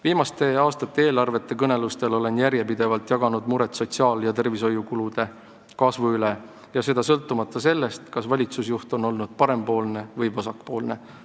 Viimaste aastate eelarvete kõnelustel olen ma järjepidevalt jaganud muret sotsiaal- ja tervishoiukulude kasvu pärast ja seda sõltumata sellest, kas valitsusjuht on olnud parempoolne või vasakpoolne.